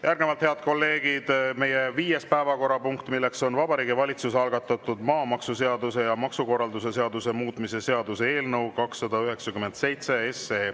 Järgnevalt, head kolleegid, meie viies päevakorrapunkt, Vabariigi Valitsuse algatatud maamaksuseaduse ja maksukorralduse seaduse muutmise seaduse eelnõu 297.